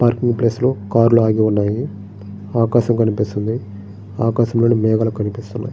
Parking place లో car లు ఆగి ఉన్నాయి. ఆకాశం కనిపిస్తుంది. ఆకాశంలో మేఘాలు కనిపిస్తున్నాయి.